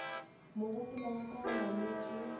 mogopolo wa ka o nametše